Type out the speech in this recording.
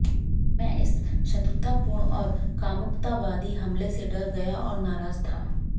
मैं इस शत्रुतापूर्ण और कामुकतावादी हमले से डर गया और नाराज था